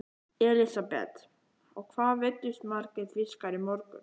Elísabet: Og hvað veiddust margir fiskar í morgun?